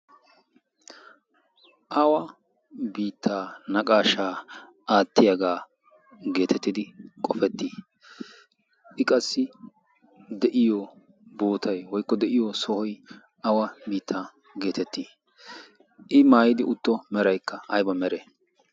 awa biittaa naqashshaa aattiyaagaa gettettidi qoffettii? i qassi de'iyoo bootay woykko de'iyoo sohoy awa sohuwaa geettetti? i maayido meraykka ayba meree?